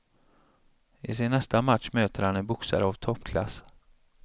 I sin nästa match möter han en boxare av toppklass.